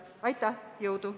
Jõudu!